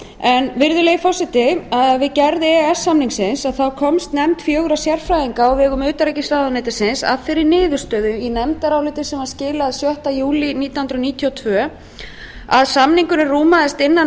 síðan virðulegi forseti við gerð e e s samningsins komst nefnd fjögurra sérfræðinga á vegum utanríkisráðuneytisins að þeirri niðurstöðu í nefndaráliti sem var skilað sjötta júlí nítján hundruð níutíu og tvö að samningurinn rúmaðist innan